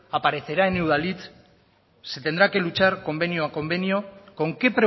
aparecerá en udalhitz se tendrá que luchar convenio a convenio con qué